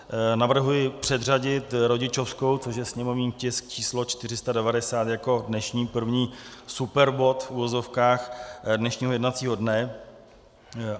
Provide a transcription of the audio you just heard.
Navrhuji předřadit rodičovskou, což je sněmovní tisk číslo 490, jako dnešní první superbod, v uvozovkách, dnešního jednacího dne.